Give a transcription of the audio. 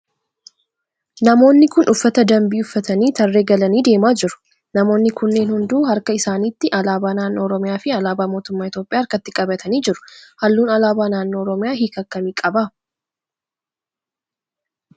Namoonni kun uffata dambii uffatanii tarree galanii deemaa jiru. Namoonni kunneen hunduu harka isaanitti alaabaa naannoo oromiyaa fi alaabaa mootummaa Itiyoophiyaa harkatti qabatanii jiru. Halluun alaabaa naannoo oromiyaa hiika akkamii qaba?